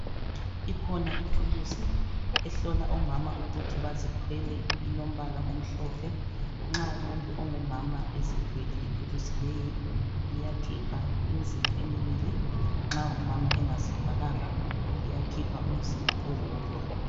Ikhona ithulusi ehlola omama ukuthi bazithwele elombala omhlophe, nxa umuntu ongumama ezithwele ithulusi leyi iyakhipha imizila emibili, nxa umama engazithwalanga iyakhipha umzila owodwa.